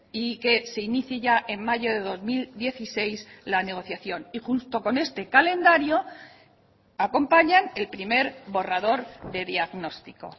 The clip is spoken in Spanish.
y que se inicie ya en mayo de dos mil dieciséis la negociación y junto con este calendario acompañan el primer borrador de diagnóstico